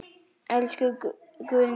Elsku Guðni minn.